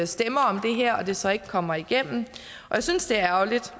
stemmer om det her og det så ikke kommer igennem jeg synes det er ærgerligt